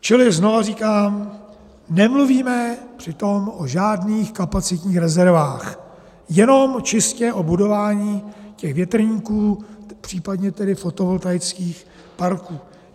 Čili znovu říkám, nemluvíme přitom o žádných kapacitních rezervách, jenom čistě o budování těch větrníků, případně tedy fotovoltaických parků.